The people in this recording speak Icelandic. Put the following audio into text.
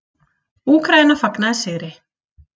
Úkraína fagnaði sigri